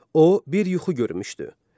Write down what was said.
O bir yuxu görmüşdü.